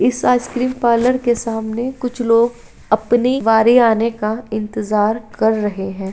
इस ice cream parlour के सामने कुछ लोग अपनी बारी आने का इंतज़ार कर रहे हैं।